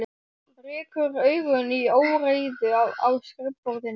Rekur augun í óreiðu á skrifborðinu.